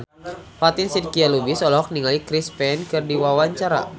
Fatin Shidqia Lubis olohok ningali Chris Pane keur diwawancara